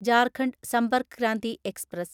Jharkhand Sampark Kranti express